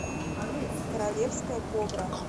королевская кобра